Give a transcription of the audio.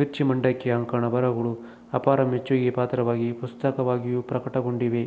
ಮಿರ್ಚಿ ಮಂಡಕ್ಕಿ ಅಂಕಣ ಬರಹಗಳು ಅಪಾರ ಮೆಚ್ಚುಗೆಗೆ ಪಾತ್ರವಾಗಿ ಪುಸ್ತಕವಾಗಿಯೂ ಪ್ರಕಟಗೊಂಡಿವೆ